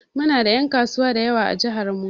Mu na da en kasuwa dayawa a jihar mu.